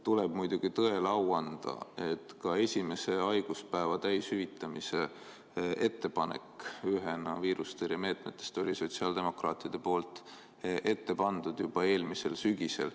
Tuleb muidugi tõele au anda, et ka esimese haiguspäeva täishüvitamise ettepanek ühena viirustõrjemeetmetest oli sotsiaaldemokraatide poolt ette pandud juba eelmisel sügisel.